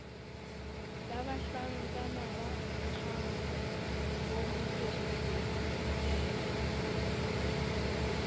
labahlankana ba akgang bomoferefere ikele